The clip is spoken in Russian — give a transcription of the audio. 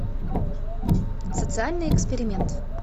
социальный эксперимент